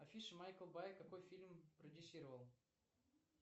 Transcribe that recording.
афиш майкл бай какой фильм продюссировал